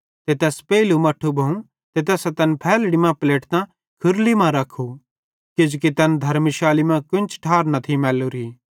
ते तैस पेइलू मट्ठू ज़र्मू ते तैनी तैन फैल्हड़ी मां पलेटतां खुरली मां रख्खू किजोकि तैस धर्मशाली मां कोन्च ठार न थी मैल्लोरी